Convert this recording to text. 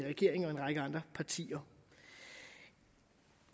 regeringen og en række andre partier